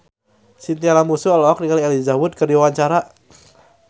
Chintya Lamusu olohok ningali Elijah Wood keur diwawancara